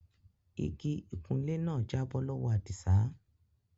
Ìgí ìkùnlẹ̀ ná jàbọ̀ lọwọ́ Adísà.